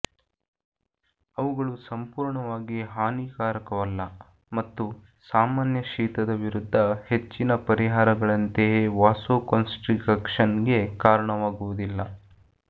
ಅವುಗಳು ಸಂಪೂರ್ಣವಾಗಿ ಹಾನಿಕಾರಕವಲ್ಲ ಮತ್ತು ಸಾಮಾನ್ಯ ಶೀತದ ವಿರುದ್ಧ ಹೆಚ್ಚಿನ ಪರಿಹಾರಗಳಂತೆಯೇ ವಾಸೊಕೊನ್ಸ್ಟ್ರಿಕಕ್ಷನ್ಗೆ ಕಾರಣವಾಗುವುದಿಲ್ಲ